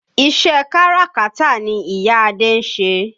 Iṣẹ́ káràkátà ni ìyá Adé ń ṣe.